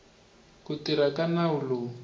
ku tirha ka nawu lowu